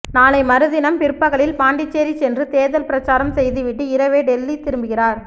நாளை மறுதினம் பிற்பகலில் பாண்டிச்சேரி சென்று தேர்தல் பிரசாரம் செய்துவிட்டு இரவே டெல்லி திரும்புகிறார்